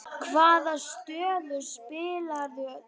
Hvaða stöðu spilaðir þú?